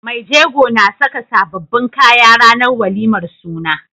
Mai jego na Saka sababbin kaya ranar walimar suna